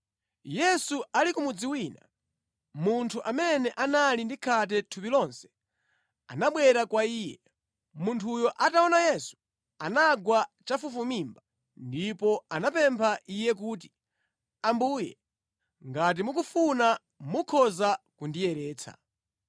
Yesu ali ku mudzi wina, munthu amene anali ndi khate thupi lonse anabwera kwa Iye. Munthuyo ataona Yesu, anagwa chafufumimba ndipo anamupempha Iye kuti, “Ambuye, ngati mukufuna, mukhoza kundiyeretsa.”